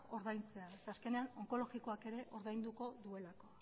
ordaintzea zeren azkenean onkologikoak ere ordainduko duelako